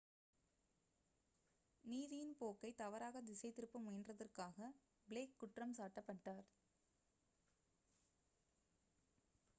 நீதியின் போக்கை தவறாக திசை திருப்ப முயன்றதற்காக பிளேக் குற்றம் சாட்டப்பட்டார்